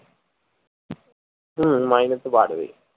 হম মাইনে তো বাড়বেই